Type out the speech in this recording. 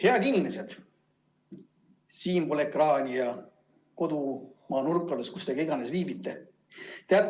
Head inimesed siinpool ekraani ja kodumaa nurkades, kus iganes te ka ei viibi!